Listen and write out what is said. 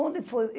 Onde foi?